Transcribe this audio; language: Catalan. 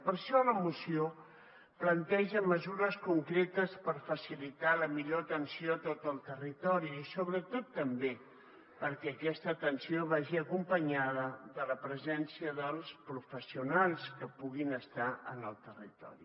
per això la moció planteja mesures concretes per facilitar la millor atenció a tot el territori i sobretot també perquè aquesta atenció vagi acompanyada de la presència dels professionals que puguin estar en el territori